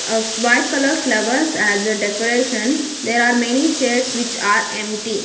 of white colour flowers as a decoration there are many chairs which are empty.